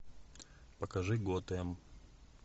покажи готэм